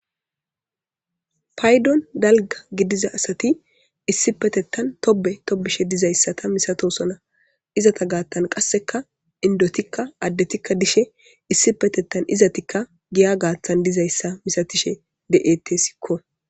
paydon dalga gidiza asati issi petettan tobe tobishe dizayssata misatosona izata gaattan qasseka indotikka addetikka dishe issi petettan izatikka giya gaathan dizayssa misatishe de7ete sikko